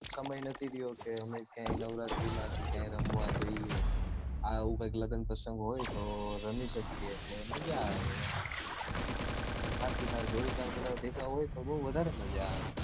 સમય નથી રયો કે હવે ક્યાંય નવરાત્રી માં કે ક્યાંય રમવા જઈએ આવું કૈક લગ્ન પ્રસંગ હોય તો રમી શકીએ તો મજા આવે ને સાચીમાં જોડીદાર બધાં ભેગાં હોય તો બૌ વધારે મજા આવે